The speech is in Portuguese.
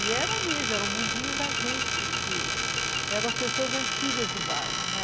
E era mesmo, era o mundinho da gente, porque eram as pessoas antigas do bairro, né?